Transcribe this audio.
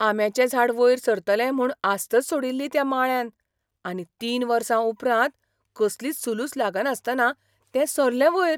आंब्याचें झाड वयर सरतलें म्हूण आस्तच सोडिल्ली त्या माळ्यान, आनी तीन वर्सां उपरांत कसलीच सुलूस लागनासतना तें सरलें वयर!